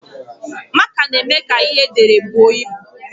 Máká na-eme ka ihe ederede bụọ ịbụ